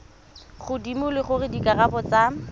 godimo le gore dikarabo tsa